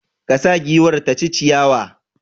Ka sa giwar ta ci ciyawa!